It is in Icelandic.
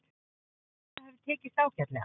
Ég held að það hafi tekist ágætlega.